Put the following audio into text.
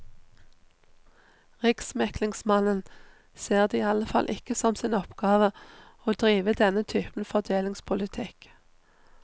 Riksmeglingsmannen ser det i alle fall ikke som sin oppgave å drive denne typen fordelingspolitikk.